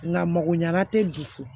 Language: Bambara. Nka makoɲa te dusu